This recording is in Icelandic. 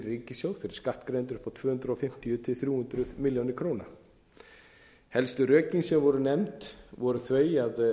fyrir skattgreiðendur upp tvö hundruð fimmtíu til þrjú hundruð milljóna króna helstu rökin sem voru nefnd voru þau að það